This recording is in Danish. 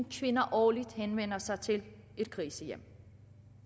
kvinder årligt henvender sig til et krisecenter